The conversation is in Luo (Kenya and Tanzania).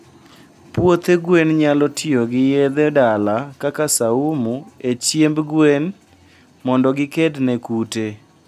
puothe gwen nyalo tiyogi yedhe dala kaka saumu e chiemb gwen mondo gikedne kute